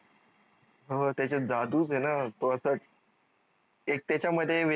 हो त्याचात जादूच आहे न तो असा एक त्याचा मध्ये